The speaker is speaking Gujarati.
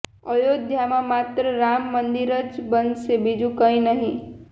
અયોધ્યામાં માત્ર રામ મંદિર જ બનશે બીજુ કંઈ નહીં